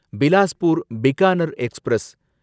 Bilaspur Bikaner express